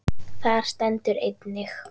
Þar stendur einnig